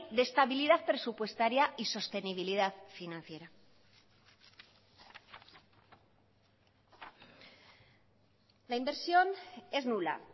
de estabilidad presupuestaria y sostenibilidad financiera la inversión es nula